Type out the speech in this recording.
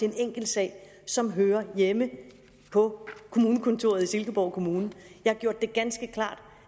en enkelt sag som hører hjemme på kommunekontoret i silkeborg kommune jeg har gjort det ganske klart